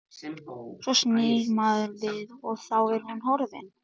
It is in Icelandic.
Svo snýr maður við og þá er hún horfin.